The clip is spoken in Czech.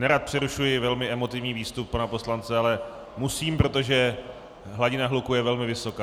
Nerad přerušuji velmi emotivní výstup pana poslance, ale musím, protože hladina hluku je velmi vysoká.